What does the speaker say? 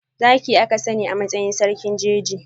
Zaki aka sani a matsayin sarkin jeji.